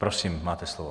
Prosím, máte slovo.